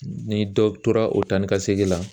Ni dɔ tora o taa ni ka segin la